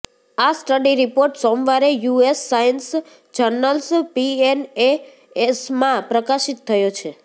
આ study report સોમવારે US science journals પીએનએએસમાં પ્રકાશિત થયો છે